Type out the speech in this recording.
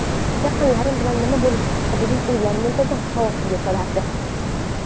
Yaqinlarim bilan nima bo‘lishi haqidagi o‘ylar muntazam xavotirga solardi.